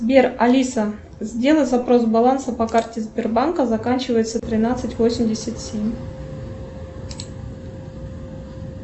сбер алиса сделай запрос баланса по карте сбербанка заканчивается тринадцать восемьдесят семь